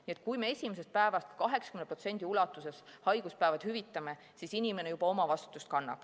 Nii et kui me alates esimesest päevast 80% ulatuses haiguspäevad hüvitame, siis inimene juba kannab omavastutust.